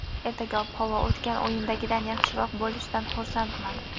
Ertaga ob-havo o‘tgan o‘yindagidan yaxshiroq bo‘lishidan xursandman.